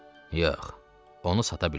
Yox, onu sata bilmərəm.